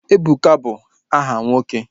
Ebuka bụ aha nwoke